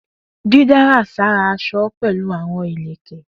Didárà sára aṣọ pẹlu awọn ilẹkẹ.